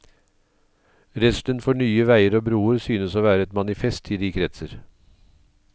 Redselen for nye veier og broer synes å være et manifest i de kretser.